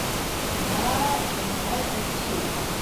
я не знаю этот фильм